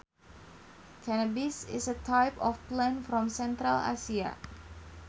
Cannabis is a type of plant from Central Asia